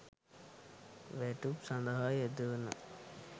වැටුප් සඳහා යෙදවෙන